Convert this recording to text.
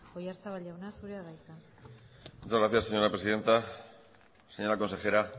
oyarzabal jauna zurea da hitza muchas gracias señora presidenta señora consejera